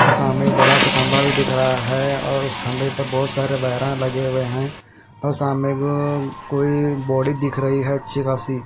और सामने एक बड़ा सा खंबा भी दिख रहा है और उस खंभे पर बहोत सारे वायरा लगे हुए हैं और सामने कोई बॉडी दिख रही है अच्छी खासी।